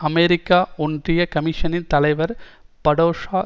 America ஒன்றிய கமிசனின் தலைவர் படோசா